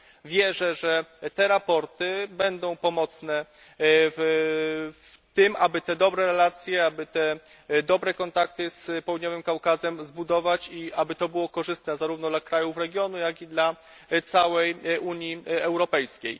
Wierzę, że te sprawozdania będą pomocne w tym, aby takie dobre relacje, aby takie dobre kontakty z Południowym Kaukazem zbudować i aby to było korzystne zarówno dla krajów regionu, jak i dla całej Unii Europejskiej.